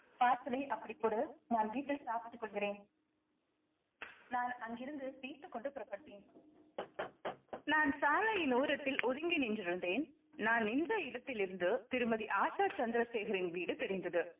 parcel ஐ அப்படி கொடு நான் வீட்டில் சாப்பிட்டுக் கொள்கிறேன் நான் அங்கிருந்து பியித்துக்கொண்டு புறப்பட்டேன் நான் சாலையின் ஓரத்தில் ஒதுங்கி நின்றிருந்தேன் நான் நின்ற இடத்திலிருந்து திருமதி ஆஷா சந்திரசேகரின் வீடு தெரிந்தது